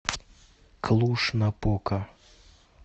клуж напока